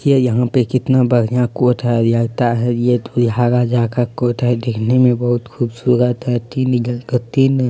ये यहाँ पे कितना बढ़िया कोट है लगता है यह दूहा राजा का कोट है दिखने मे बोहोत बहुत खूबसूरत है तीन इधर का तीन --